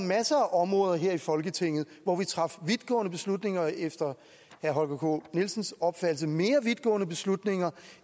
masser af områder her i folketinget hvor vi træffer vidtgående beslutninger og efter herre holger k nielsens opfattelse mere vidtgående beslutninger